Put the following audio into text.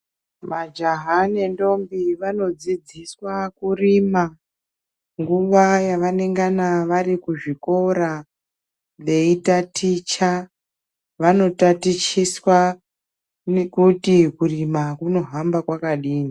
Majaha nendombi vanodzidziswa kurima nguwa yavanongana vari kuchikora veitaticha. Vanotatichiswa nekuti kurima kunohamba kwakadini.